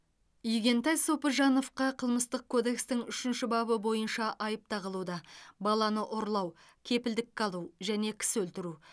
игентай сопыжановқа қылмыстық кодекстің үшінші бабы бойынша айып тағылуда баланы ұрлау кепілдікке алу және кісі өлтіру